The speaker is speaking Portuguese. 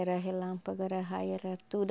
Era relâmpago, era raio, era tudo.